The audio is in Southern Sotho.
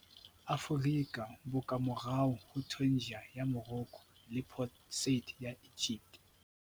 Aforika, bo ka morao ho Tangier ya Morocco le Port Said ya Egypt.